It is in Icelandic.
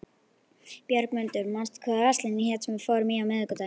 Björgmundur, manstu hvað verslunin hét sem við fórum í á miðvikudaginn?